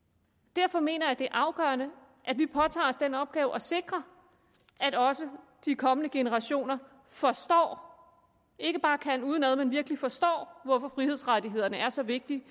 derfor mener jeg det er afgørende at vi påtager os den opgave at sikre at også de kommende generationer forstår ikke bare kan dem udenad men virkelig forstår hvorfor frihedsrettighederne er så vigtige